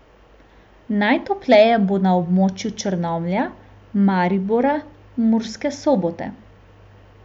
Najtopleje bo na območju Črnomlja, Maribora, Murske Sobote.